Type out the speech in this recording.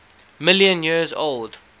million years old